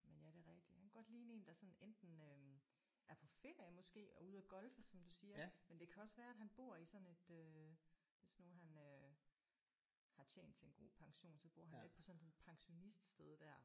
Men ja det er rigtigt han kunne godt ligne en der sådan enten øh er på ferie måske og ude at golfe som du siger men det kan også være at han bor i sådan et øh hvis nu han øh har tjent til en god pension så bor han lidt på sådan et pensioniststed der